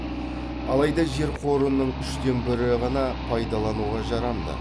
алайда жер қорының үштен бірі ғана пайдалануға жарамды